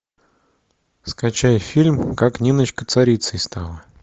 скачай фильм как ниночка царицей стала